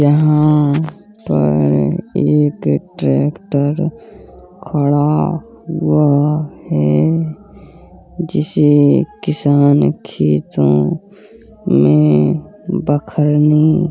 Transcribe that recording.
यहाँ पर एक ट्रेक्टर खड़ा हुआ है जिसे किसान खेतों में बखरने --